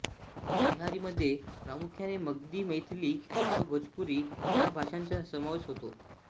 बिहारीमध्ये प्रामुख्याने मगधी मैथिली व भोजपुरी ह्या भाषांचा समावेश होतो